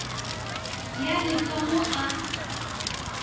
ya le ka mo a